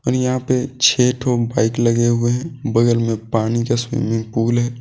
यहां पे छे ठो बाइक लगे हुए हैं। बगल में पानी का स्विमिंग पुल है।